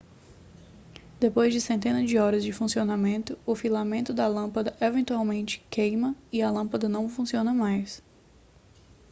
depois de centenas de horas de funcionamento o filamento da lâmpada eventualmente queima e a lâmpada não funciona mais